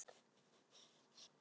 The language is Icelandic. Og þetta þarf að gerast.